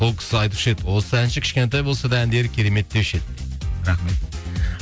сол кісі айтушы еді осы әнші кішкентай болса да әндері керемет деуші еді дейді рахмет